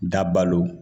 Dabalo